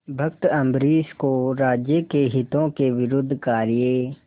भक्त अम्बरीश को राज्य के हितों के विरुद्ध कार्य